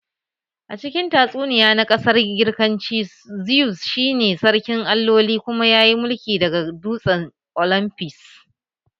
A cikin tatsuniya na ƙasar Girkanci, Zeus shi ne sarkin alloli kuma yayi mulki daga dutsen olymfus